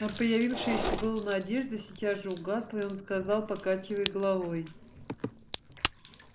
но появившаяся было надежда сейчас же угасла и он сказал покачивая головой